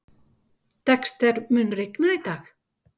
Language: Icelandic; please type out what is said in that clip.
Dexter, mun rigna í dag?